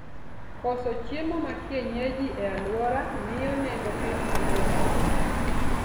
Koso chiemo makienyeji e aluora mio nengo pith idho malo